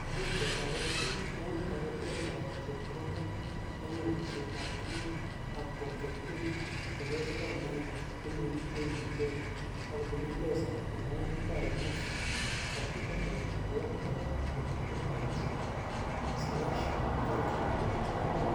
" Much kotaret pik ing taretet ap chepkondok ing alishet ap tukuk ap colgateing dukoshek ap Naivas che nekiten ichek; ak kobun Mpesa eng WellBoring website(www.wellboring.org/colgate).